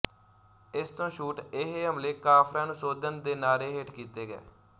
ਇਸ ਤੋਂ ਛੂਟ ਇਹ ਹਮਲੇ ਕਾਫ਼ਰਾਂ ਨੂੰ ਸੋਧਣ ਦੇ ਨਾਅਰੇ ਹੇਠ ਕੀਤੇ ਗਏ